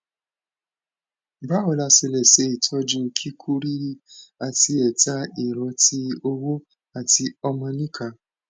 báwo la ṣe lè ṣe itoju kiku riri ati eta ero tí ọwọ àti omonika